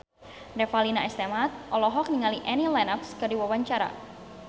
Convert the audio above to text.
Revalina S. Temat olohok ningali Annie Lenox keur diwawancara